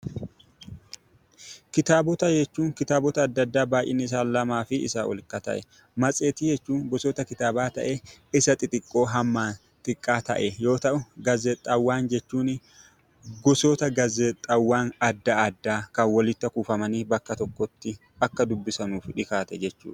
Kitaabota jechuun kitaabota adda addaa baay'innisaa lamaa fi isaa ol ka ta'e. Matseetii jechuun gosoota kitaabaa ta'ee isa xixiqqoo hammaan xiqqaa ta'e yoo ta'u, gaazexaawwan jechuun gosoota gaazexaawwan adda addaa kan walitti kuufamanii bakka tokkotti akka dubbisamuuf dhiyaate jechuudha.